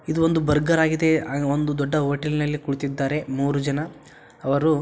ಇದು ಒಂದು ಬರ್ಗರ್ ಆಗಿದೆ ಹಾಗೆ ಒಂದು ದೊಡ್ಡ ಹೋಟೆಲ್ನಲ್ಲಿ ಕುಳಿತಿದ್ದಾರೆ ಮೂರು ಜನ. ಅವರು--